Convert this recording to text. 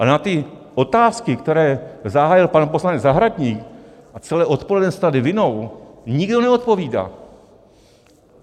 Ale na ty otázky, které zahájil pan poslanec Zahradník a celé odpoledne se tady vinou, nikdo neodpovídá.